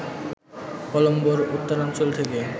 কলম্বোর উত্তরাঞ্চল থেকে